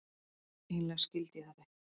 Eiginlega skildi ég þetta ekki.